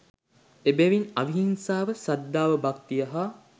එබැවින් අවිහිංසාව සද්ධාව, භක්තිය හා